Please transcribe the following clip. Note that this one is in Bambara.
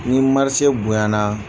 Ni bonya na.